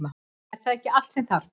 Er það ekki allt sem þarf?